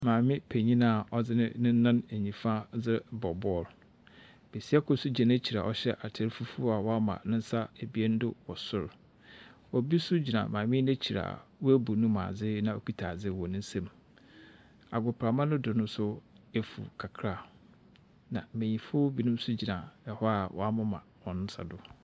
Maame panin a ɔdze ne nan nifa ɔdze rebɔ bɔl. Besia kor nso gyina n'ekyir a ɔhyɛ atar fufuo a wama ne ebien do wɔ sor. Obi nso gyina maame yi n'ekyir a wabu ne mu adze na ɔkuta adze wɔ ne nsam. Agoprama no do nso efuw kakra, na mbenyimfo binom nso gyina hɔ a wɔamema hɔn nsa do.